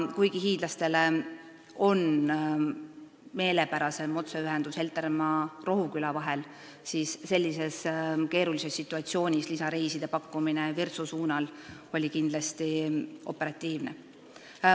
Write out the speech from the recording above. Kuigi hiidlastele on meelepärasem otseühendus Heltermaa ja Rohuküla vahel, siis sellises keerulises situatsioonis lisareiside pakkumine Virtsu poole oli kindlasti operatiivne.